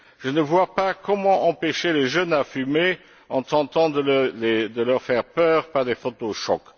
Je ne vois pas comment empêcher les jeunes de fumer en tentant de leur faire peur par des photos choc.